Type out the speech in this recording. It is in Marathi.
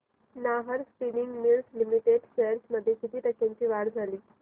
Nahar spinning mills limited shares मध्ये किती टक्क्यांची वाढ झाली